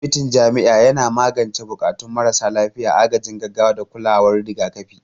Asibitin jami'a yana magance buƙatun marasa lafiya, agajin gaggawa, da kulawar rigakafi.